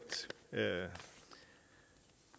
og